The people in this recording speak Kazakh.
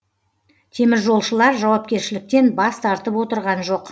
теміржолшылар жауапкершіліктен бас тартып отырған жоқ